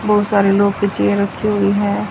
बहोत सारे लोग की चेयर रखी हुई है।